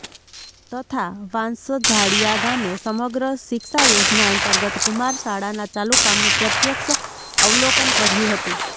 તથા વાંસજાળીયા ગામે સમગ્ર શિક્ષા યોજના અંતર્ગત કુમાર શાળાના ચાલુ કામનુ પ્રત્યક્ષ અવલોકન કર્યુ હતું